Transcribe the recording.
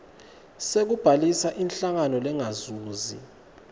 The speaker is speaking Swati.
sekubhalisa inhlangano lengazuzi